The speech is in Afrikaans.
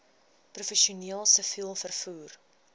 professioneel siviel vervoer